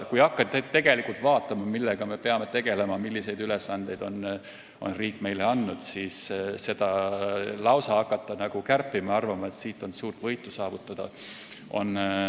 Kui hakata vaatama, millega me peame tegelema ja milliseid ülesandeid on riik meile andnud, siis ei saa siin hakata midagi kärpima selleks, et suurt võitu saavutada.